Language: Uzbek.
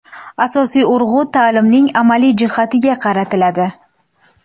Asosiy urg‘u ta’limning amaliy jihatiga qaratiladi.